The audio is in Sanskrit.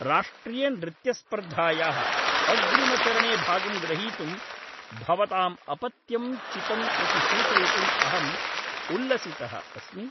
राष्ट्रियनृत्यस्पर्धायाः अग्रिमचरणे भागं ग्रहीतुं भवताम् अपत्यं चितम् इति सूचयितुम् अहम् उल्लसितः अस्मि।